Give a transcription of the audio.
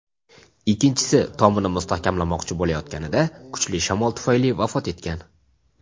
Ikkinchisi tomini mustahkamlamoqchi bo‘layotganida kuchli shamol tufayli vafot etgan.